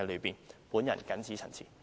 我謹此陳辭。